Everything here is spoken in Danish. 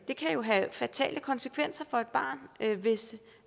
det kan jo have fatale konsekvenser for et barn hvis